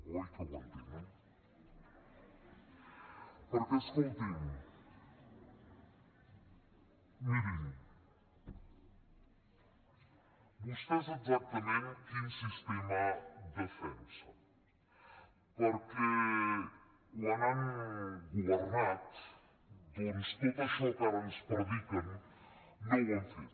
oi que ho entenen perquè escoltin mirin vostès exactament quin sistema defensen perquè quan han governat doncs tot això que ara ens prediquen no ho han fet